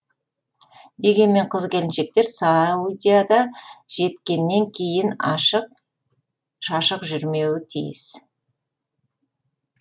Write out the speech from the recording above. дегенмен қыз келіншектер саудияда жеткеннен кейін ашық шашық жүрмеуі тиіс